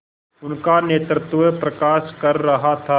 उनका नेतृत्व प्रकाश कर रहा था